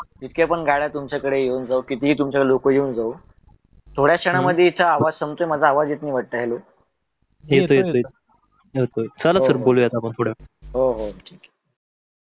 जितक्या पण गाड्या तुमच्या कडे येवून जावोत कितीही लोक तुमच्याकड येवून जावो तोड्याथोडा क्षणमध्ये माझा आवाज संपते माझा आवाज येतो वाटत hello येतो येतो चला सर बोलूया आपण. हो.